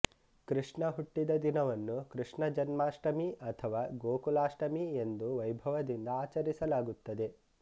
ಕೃಷ್ಣ ಹುಟ್ಟಿದ ದಿನವನ್ನು ಕೃಷ್ಣ ಜನ್ಮಾಷ್ಟಮಿ ಅಥವಾ ಗೋಕುಲಾಷ್ಟಮಿ ಎಂದು ವೈಭವದಿಂದ ಆಚರಿಸಲಾಗುತ್ತದೆ